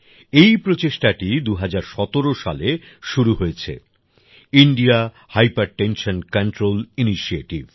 এই প্রচেষ্টাটি ২০১৭ সালে শুরু হয়েছে ইন্ডিয়া হাইপারটেনশন কন্ট্রোল ইনিশিয়েটিভ